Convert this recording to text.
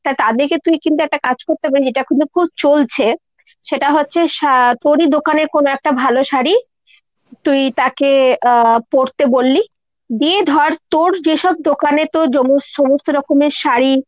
তাদেরকে তুই কিন্তু একটা কাজ করতে পারিস এটা কিন্তু খুব চলছে সেটা হচ্ছে, শা তোরই দোকানের কোনো একটা ভালো শাড়ী। তুই তাকে আহ পরতে বললি। দিয়ে ধর তোর যেসব দোকানে তোর সমস্ত রকমের শাড়ী